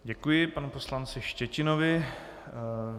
Děkuji panu poslanci Štětinovi.